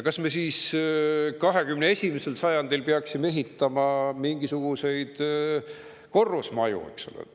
Kas me siis 21. sajandil peaksime ehitama mingisuguseid korrusmaju?